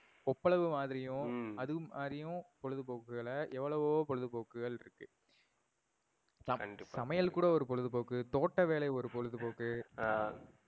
ஒப்பளவு மாறியும் ஹம் அது மாறியும் பொழுதுபோக்குகள்ல எவ்வளவோ பொழுதுபொக்குகள் இருக்கு. கண்டிப்பா. சமையல் கூட ஒரு பொழுதுபோக்கு. தோட்ட வேலை ஒரு பொழுதுபோக்கு. அஹ்